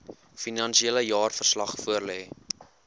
finansiële jaarverslag voorlê